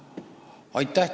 Aitäh!